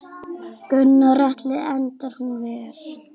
Gunnar Atli: Endar hún vel?